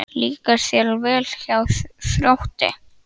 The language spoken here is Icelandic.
Líkar þér vel hjá Þrótti?